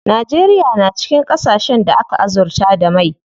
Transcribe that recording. Najeriya na cikin ƙasashen da aka azurta da mai.